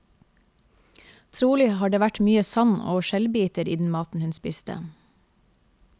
Trolig har det vært mye sand og skjellbiter i den maten hun spiste.